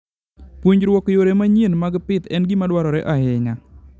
Puonjruok yore manyien mag pidh en gima dwarore ahinya.